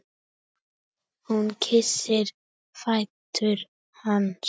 Hún kyssir fætur hans.